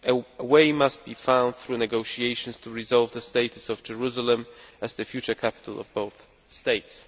A way must be found through negotiations to resolve the status of Jerusalem as the future capital of both states.